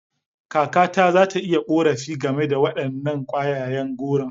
Kakata za ta yi korafi game da wadannan kwayayen goro.